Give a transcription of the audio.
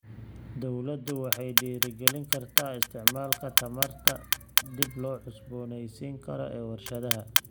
Dawladdu waxay dhiirigelin kartaa isticmaalka tamarta dib loo cusboonaysiin karo ee warshadaha.